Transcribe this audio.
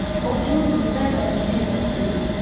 Ovçunun üzündə əvvəlki təmkin hiss edilmirdi.